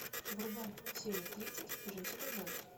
врубай серию тридцать джессика джонс